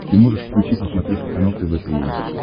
ты можешь включить на смотрешке канал тв три эйч ди